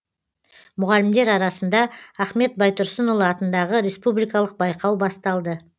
мұғалімдер арасында ахмет байтұрсынұлы атындағы республикалық байқау басталды